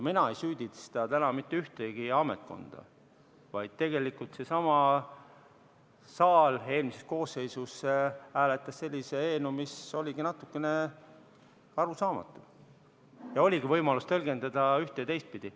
Mina ei süüdista täna mitte ühtegi ametkonda, vaid tegelikult seesama saal eelmises koosseisus hääletas sellise eelnõu, mis oligi natukene arusaamatu ja oligi võimalus tõlgendada üht- ja teistpidi.